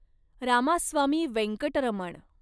Ramaswamy Venkataraman